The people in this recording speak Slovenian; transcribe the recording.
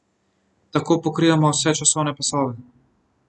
Tako pokrivamo vse časovne pasove.